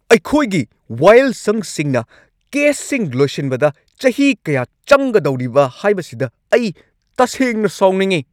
ꯑꯩꯈꯣꯏꯒꯤ ꯋꯥꯌꯦꯜꯁꯪꯁꯤꯡꯅ ꯀꯦꯁꯁꯤꯡ ꯂꯣꯏꯁꯤꯟꯕꯗ ꯆꯍꯤ ꯀꯌꯥ ꯆꯪꯒꯗꯧꯔꯤꯕ ꯍꯥꯏꯕꯁꯤꯗ ꯑꯩ ꯇꯁꯦꯡꯅ ꯁꯥꯎꯅꯤꯡꯏ ꯫